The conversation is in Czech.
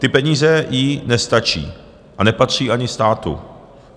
Ty peníze jí nepatří a nepatří ani státu.